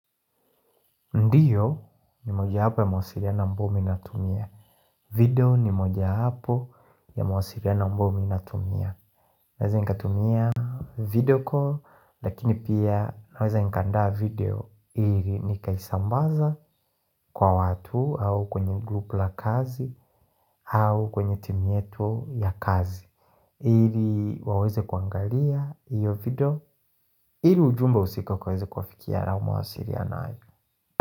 Ndiyo ni moja wapo ya mawasiliano ambao mi natumia video ni moja hapo ya mawasiliano ambao mi natumia Naweza nikatumia video call Lakini pia naweza nikandaa video ili nikaisambaza kwa watu au kwenye group la kazi au kwenye timu yetu ya kazi ili waweze kuangalia iyo video ili ujumba husika ikaweze kuwafikia au mawasiliano hai.